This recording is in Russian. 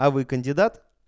а вы кандидат